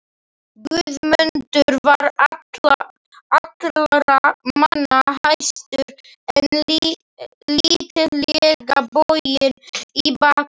Guðmundur var allra manna hæstur en lítillega boginn í baki.